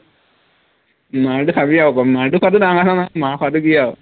মাৰটো খাবি আৰু অকণ মাৰটো খোৱাটো ডাঙৰ কথা নহয় মাৰ খোৱাটো কি আৰু